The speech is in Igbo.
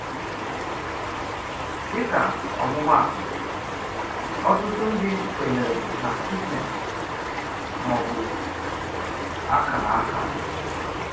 Dịka ọmụmaatụ, ọ̀tụtụ ndị kwènyèrè na Kismet, mà ọ bụ akara aka.